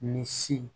Ni si